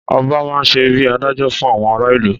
Ọba má n ṣe bíi adájọ fún àwọn ará ìlú